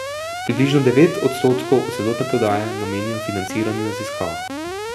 Približno devet odstotkov od celotne prodaje namenijo financiranju raziskav.